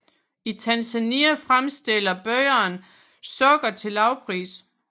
I Tanzania fremstiller bønderne sukker til lavpris